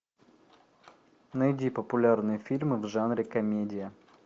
найди популярные фильмы в жанре комедия